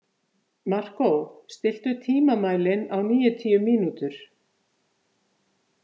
Markó, stilltu tímamælinn á níutíu mínútur.